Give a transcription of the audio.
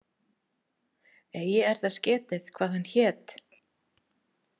Eigi er þess getið, hvað hann hét.